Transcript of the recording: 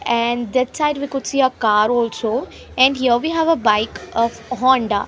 and that side we could see a car also and here we have a bike a honda .